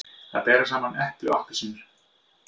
Að bera saman epli og appelsínur